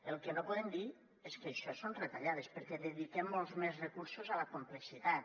el que no podem dir és que això són retallades perquè dediquem molts més recursos a la complexitat